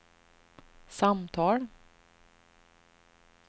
samtal